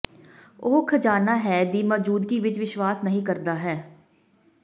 ਉਹ ਖ਼ਜ਼ਾਨਾ ਹੈ ਦੀ ਮੌਜੂਦਗੀ ਵਿੱਚ ਵਿਸ਼ਵਾਸ ਨਹੀ ਕਰਦਾ ਹੈ